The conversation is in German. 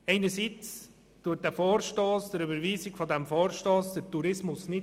Einerseits rettet die Überweisung dieses Vorstosses den Tourismus nicht.